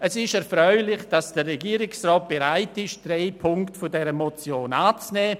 Erfreulicherweise ist der Regierungsrat bereit, drei Punkte dieser Motion anzunehmen.